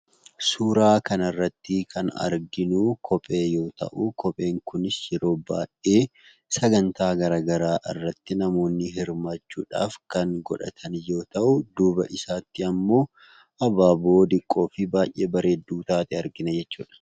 Suuraa kanarratti kan arginuu kophee yoo ta'uu, kopheen kunis yeroo baayyee sagantaa garagaraa irratti namoonni hirmaachuudhaaf kan godhatan yoo ta'u duuba isaatti ammoo abaaboo diqqoofi baayyee bareeddu taate argina jechuudha.